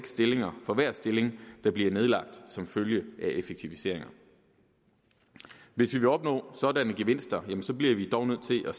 stillinger for hver stilling der bliver nedlagt som følge af effektiviseringer hvis vi vil opnå sådanne gevinster bliver vi dog nødt til at